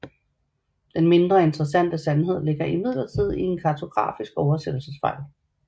Den mindre interessante sandhed ligger imidlertid i en kartografisk oversættelsesfejl